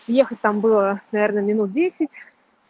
ехать там была наверное минут десять